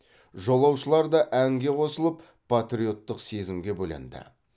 жолаушылар да әнге қосылып патриоттық сезімге бөленді